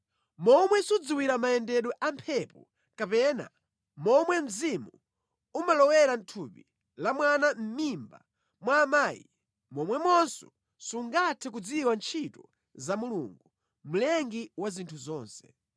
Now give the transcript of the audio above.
Momwe sudziwira mayendedwe a mphepo, kapena momwe mzimu umalowera mʼthupi la mwana mʼmimba mwa amayi, momwemonso sungathe kudziwa ntchito za Mulungu, Mlengi wa zinthu zonse.